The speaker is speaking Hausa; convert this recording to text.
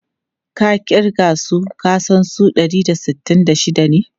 Ka kirga su ka san su dari da sittin da shida ne?